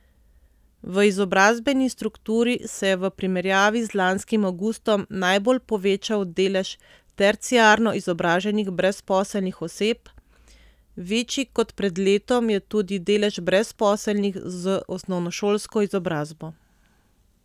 V izobrazbeni strukturi se je v primerjavi z lanskim avgustom najbolj povečal delež terciarno izobraženih brezposelnih oseb, večji kot pred letom je tudi delež brezposelnih z osnovnošolsko izobrazbo.